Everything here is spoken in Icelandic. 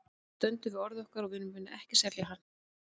Við stöndum við orð okkar og við munum ekki selja hann.